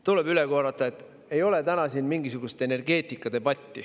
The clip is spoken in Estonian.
Tuleb üle korrata, et ei ole täna siin mingisugune energeetikadebatt.